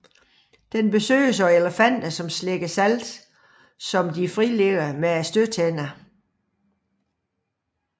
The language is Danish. Den besøges af elefanter som slikker salt som de frilægger med stødtænderne